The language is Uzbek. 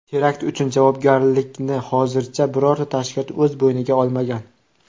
Terakt uchun javobgarlikni hozircha birorta tashkilot o‘z bo‘yniga olmagan.